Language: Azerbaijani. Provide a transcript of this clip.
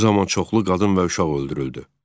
Bu zaman çoxlu qadın və uşaq öldürüldü.